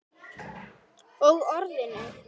Og Orðinu.